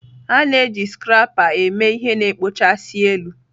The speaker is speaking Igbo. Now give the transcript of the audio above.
A na-eji scrapper eme ihe na-ekpochasị elu.